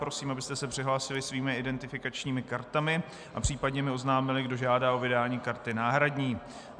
Prosím, abyste se přihlásili svými identifikačními kartami a případně mi oznámili, kdo žádá o vydání karty náhradní.